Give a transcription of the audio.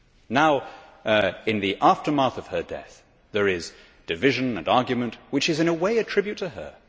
Now, in the aftermath of her death, there is division and argument, which is in a way a tribute to her.